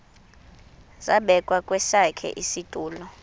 zabekwa kwesakhe isitulo